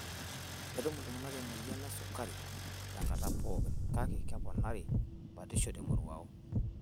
Ketum iltung'ana emoyian esukari tenkata pookin kake keponari batisho temoruao.